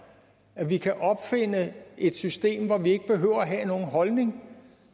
når vi kan opfinde et system hvor vi ikke behøver at have nogen holdning